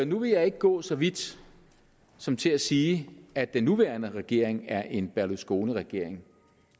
nu vil jeg ikke gå så vidt som til at sige at den nuværende regering er en berlusconiregering